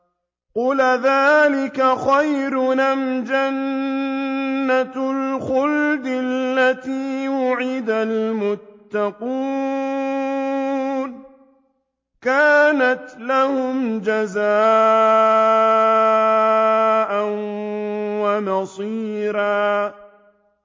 قُلْ أَذَٰلِكَ خَيْرٌ أَمْ جَنَّةُ الْخُلْدِ الَّتِي وُعِدَ الْمُتَّقُونَ ۚ كَانَتْ لَهُمْ جَزَاءً وَمَصِيرًا